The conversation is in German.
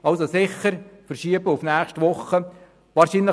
Damit sollte das Traktandum sicher auf die nächste Woche verschoben werden.